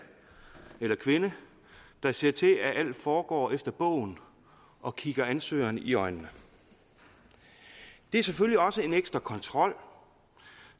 eller kvinde der ser til at alt foregår efter bogen og kigger ansøgeren i øjnene det er selvfølgelig også en ekstra kontrol